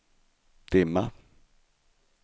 dimma